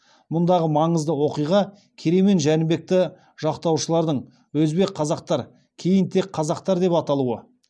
мұндағы маңызды оқиға керей мен жәнібекті жақтаушылардың өзбек қазақтар кейін тек қазақтар деп аталуы